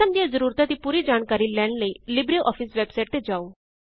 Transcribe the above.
system ਦੀਆਂ ਜਰੂਰਤਾਂ ਦੀ ਪੂਰੀ ਜਾਣਕਾਰੀ ਲੈਣ ਲਈ ਲਿਬਰੇਆਫਿਸ ਵੈਬਸਾਇਟ ਤੇ ਜਾਓ